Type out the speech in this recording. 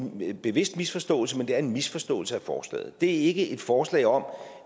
nogen bevidst misforståelse men det er en misforståelse af forslaget det er ikke et forslag om